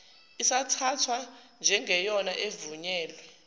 isathathwa njengeyona evunyelwe